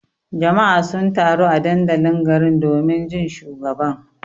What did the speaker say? Jama'a sun taru a dandalin garin domin jin shugaban.